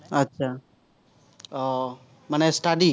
আহ মানে study